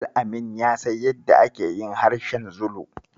Al-amin ya san yadda ake yin harshen Zulu.